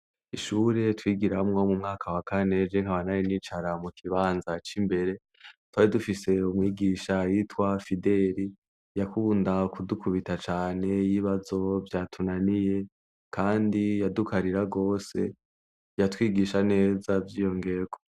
Ishure twigira hamwo mu mwaka wa kaneje nk'a banari n'icara mu kibanza c'imbere twari dufise umwigisha yitwa fideli yakunda kudukubita cane y'ibazo vya tunaniye, kandi yadukarira rwose yatwigisha neza vyiyongewo.